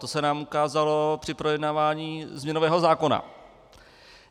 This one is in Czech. To se nám ukázalo při projednávání změnového zákona.